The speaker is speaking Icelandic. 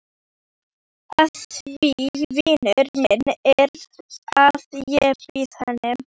Af því vinur minn að ég bý hér.